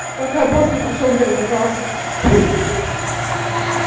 пока босс не пришёл не разобрался ха-ха-ха